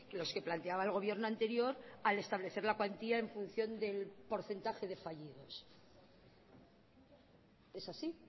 los que planteaba el gobierno anterior al establecer la cuantía en función del porcentaje de fallidos es así